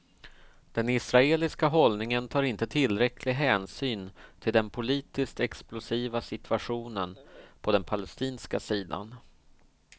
Det israeliska hållningen tar inte tillräcklig hänsyn till den politiskt explosiva situationen på den palestinska sidan.